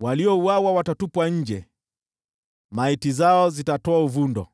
Waliouawa watatupwa nje, maiti zao zitatoa uvundo,